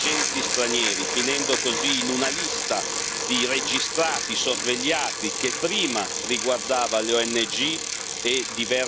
di registrati sorvegliati, che prima riguardava le ONG e diverse delle testate straniere e oggi perfino i blog.